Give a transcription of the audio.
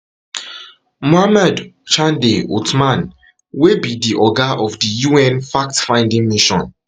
mohamed chande othman wey be wey be di oga of di un fact finding mission